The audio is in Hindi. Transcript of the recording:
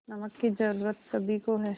नमक की ज़रूरत सभी को है